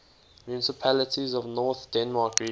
municipalities of north denmark region